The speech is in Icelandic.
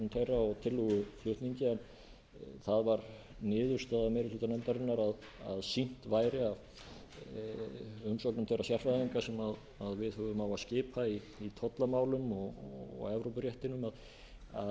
umsögn þeirra og tillöguflutningi en það varð niðurstaða meiri hluta nefndarinnar að sýnt væri að umsögnum þeirra sérfræðinga sem við höfum á að skipa í tollamálum og evrópuréttinum að